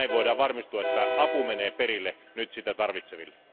Näin voidaan varmistua siitä, että apu menee perille sitä tarvitseville.